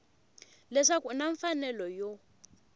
leswaku u na mfanelo yo